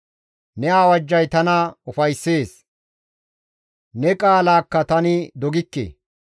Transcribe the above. Ne awajjay tana ufayssees; ne qaalaakka tani dogikke.